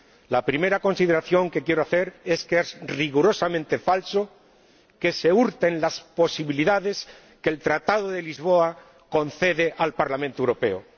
La primera consideración que quiero hacer es que es rigurosamente falso que se hurten las posibilidades que el Tratado de Lisboa concede al Parlamento Europeo.